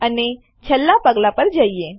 અને છેલ્લા પગલાં પર જઈએ